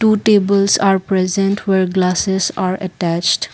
two tables are present where glasses are attached.